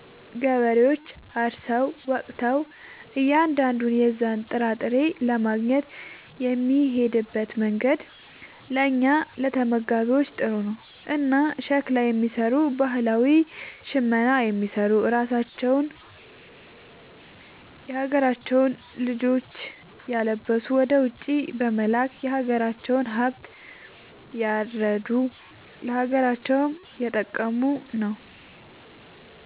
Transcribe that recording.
ገበሬዎች አርሰው ወቅተው እያንዳንዱን የዛን ጥራጥሬ ለማግኘት የሚሄድበት መንገድ ለእኛ ለተመጋቢዎች ጥሩ ነው። እና ሸክላ የሚሰሩ ባህላዊ ሽመና የሚሰሩ ራሳቸውን የሀገራቸውን ልጆች እያለበሱ ወደ ውጪ በመላክ የሀገራቸውን ሃብት እያረዱ ለሀገራቸውም እየጠቀሙ ነው ማለት።